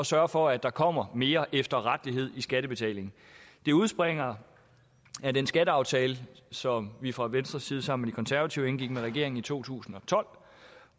sørge for at der kommer mere efterrettelighed i skattebetalingen det udspringer af den skatteaftale som vi fra venstres side sammen konservative indgik med regeringen i to tusind og tolv